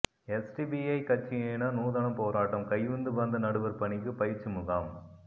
SDPI கட்சியினர் நூதன போராட்டம் கையுந்துபந்து நடுவர் பணிக்கு பயிற்சி முகாம்